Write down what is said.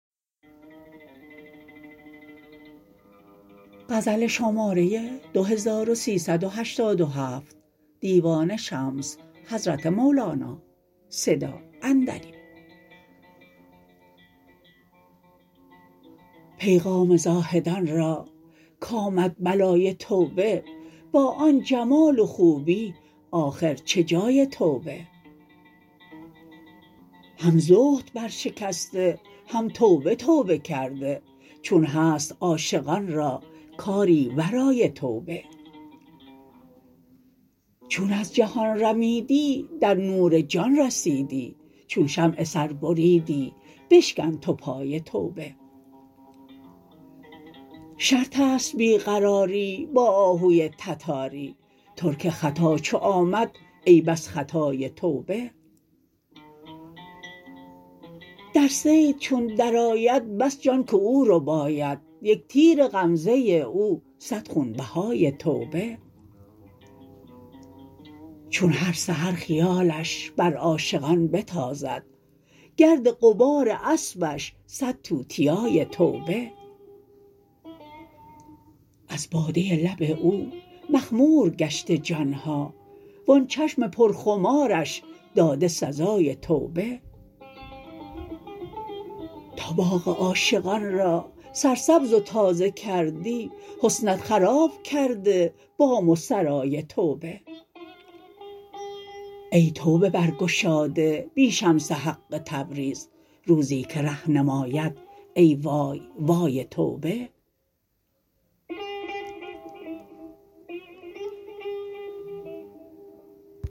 پیغام زاهدان را کآمد بلای توبه با آن جمال و خوبی آخر چه جای توبه هم زهد برشکسته هم توبه توبه کرده چون هست عاشقان را کاری ورای توبه چون از جهان رمیدی در نور جان رسیدی چون شمع سر بریدی بشکن تو پای توبه شرط است بی قراری با آهوی تتاری ترک خطا چو آمد ای بس خطای توبه در صید چون درآید بس جان که او رباید یک تیر غمزه او صد خونبهای توبه چون هر سحر خیالش بر عاشقان بتازد گرد غبار اسبش صد توتیای توبه از باده لب او مخمور گشته جان ها و آن چشم پرخمارش داده سزای توبه تا باغ عاشقان را سرسبز و تازه کردی حسنت خراب کرده بام و سرای توبه ای توبه برگشاده بی شمس حق تبریز روزی که ره نماید ای وای وای توبه